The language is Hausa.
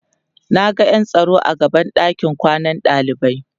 Naga ƴan tsaro a gaban ɗakin kwanan ɗalibai